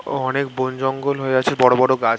ও অনেক বন জঙ্গল হয়ে আছে বড়ো বড়ো গাছ --